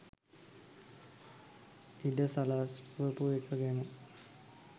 ඉඩ සලස්වපු ඒක ගැන.